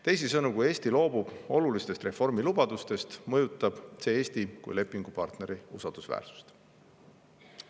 Teisisõnu, kui Eesti loobub olulistest reformi lubadustest, mõjutab see Eesti kui lepingupartneri usaldusväärsust.